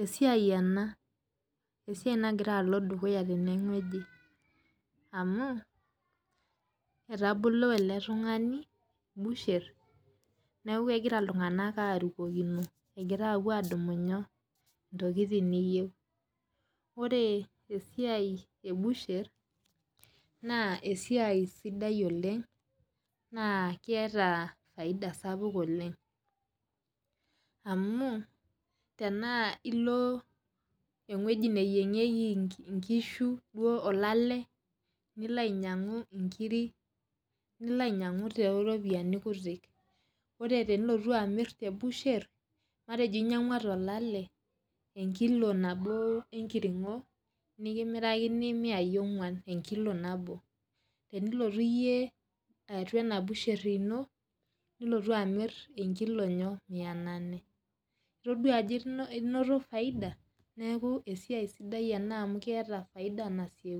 esiai ena amu etaboli eletungani busher neakubegira ltunganak apuo arukokino egira adumu ntokitin niyeu ore esiai ebusher na esiaia sidai oleng na keeta Faida sapuk oleng amu tanaa ilo ewuei nayiengeki nkishu olale nilo ainyangu nkirik nilo ainyangu toropiyani kutik ore pilo amir tebusher ore pilo ainyangu enkilo nabo tolale nikimirakini miai onguan tolale enilotu iyie atubenabusher ino nilotu amir mia nane, itadua ajo inoto faida? Neaku esiai sidai ena amu keeta faida nasieku.